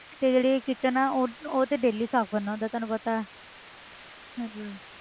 ਤੇ ਜਿਹੜੇ kitchen ਹੈ ਉਹ ਉਹ ਤੇ daily ਸਾਫ਼ ਕਰਨਾ ਉਹ ਤਾਂ ਤੈਨੂੰ ਪਤਾ ਹੈ